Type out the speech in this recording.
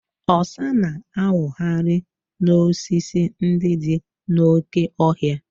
Ọsa na-awụgharị n'osisi ndị dị n'oke ọhịa.